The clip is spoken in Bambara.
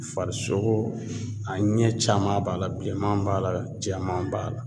Farisogo a ɲɛ caman b'a la bilenman b'a la jɛman b'a la